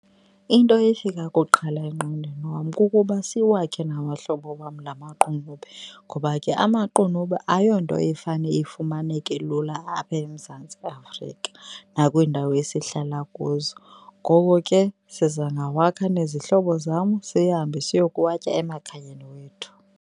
Into efika kuqala engqondweni wam kukuba siwakhe nabahlobo wam la maqunube ngoba ke amaqunube ayonto efane ifumaneke lula apha eMzantsi Afrika nakwiindawo esihlala kuzo. Ngoko ke siza ngawakha nezihlobo zam sihambe siyokuwatya emakhayeni wethu.